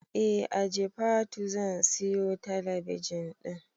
Eh a jifatu zan siyo talabijin din